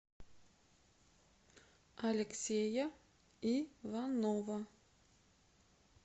алексея иванова